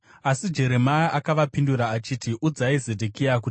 Asi Jeremia akavapindura achiti, “Udzai Zedhekia kuti,